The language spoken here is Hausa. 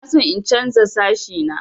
Ina son in chanza sashi na.